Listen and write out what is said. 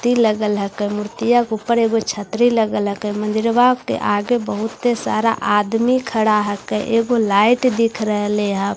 तीन अलग अलग मूर्तिया ऊपर छतरी अलग अलग है मंदिरवा के आगे बहुत आदमी खड़ा है के ए वो लाइट दिख रहे ले है।